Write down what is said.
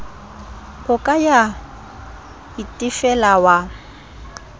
o ka ya itefela wa